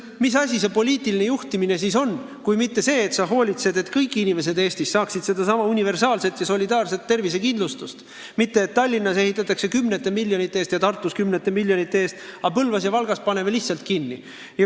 Mis asi see poliitiline juhtimine siis on kui mitte see, et sa hoolitsed, et kõik inimesed Eestis saaksid selle universaalse ja solidaarse tervisekindlustusega tagatud arstiabi, et ei oleks nii, et Tallinnas ehitatakse kümnete miljonite eest ja Tartus ehitatakse kümnete miljonite eest, aga Põlvas ja Valgas pannakse osakonnad lihtsalt kinni.